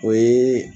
O ye